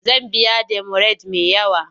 Zan biya demurej me yawa.